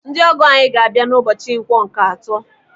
Ndị ọgọ anyị ga-abịa n'ụbọchị Nkwọ nke atọ.